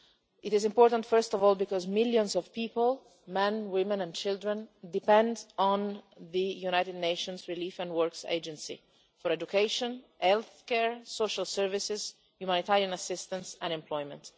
It is important first of all because millions of people men, women and children depend on the United Nations Relief and Works Agency for education, healthcare and social services, humanitarian assistance and employment.